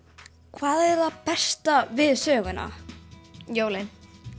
hvað er það besta við söguna jólin